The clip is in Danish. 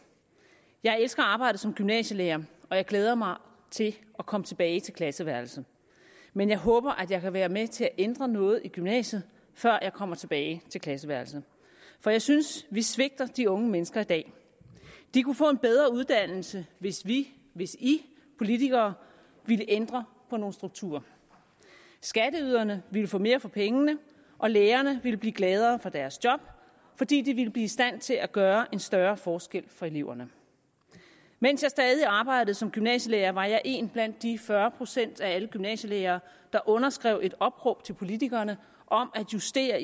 jeg elsker at arbejde som gymnasielærer og jeg glæder mig til at komme tilbage til klasseværelset men jeg håber at jeg kan være med til at ændre noget i gymnasiet før jeg kommer tilbage til klasseværelset for jeg synes vi svigter de unge mennesker i dag de kunne få en bedre uddannelse hvis vi hvis i politikere ville ændre på nogle strukturer skatteyderne ville få mere for pengene og lærerne ville blive gladere for deres job fordi de ville blive i stand til at gøre en større forskel for eleverne mens jeg stadig arbejdede som gymnasielærer var jeg en blandt de fyrre procent af alle gymnasielærere der underskrev et opråb til politikerne om at justere